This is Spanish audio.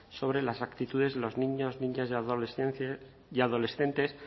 sobre las actitudes de los niños niñas y adolescentes